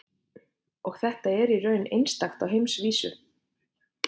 Og þetta er í raun einstakt á heimsvísu?